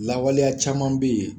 Lawaleya caman be yen